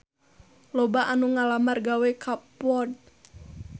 Loba anu ngalamar gawe ka Ford